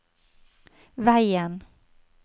veien